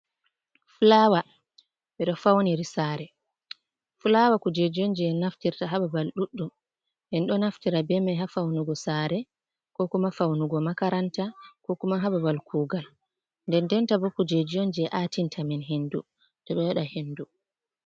Fulawa ɓeɗo fauniri Sare, fulawa kujeji on je en nafirta ha babal ɗudɗum, enɗo naftira bemai ha faunugo sare kokuma faunugo makaranta ko kuma ha babal kugal, nden nden tabo kujeji on je atintamen hendu toɓeɗo waɗa hendu.